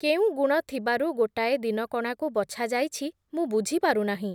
କେଉଁ ଗୁଣ ଥିବାରୁ ଗୋଟାଏ ଦିନକଣାକୁ ବଛାଯାଇଛି ମୁଁ ବୁଝିପାରୁ ନାହିଁ ।